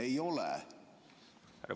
Ei ole.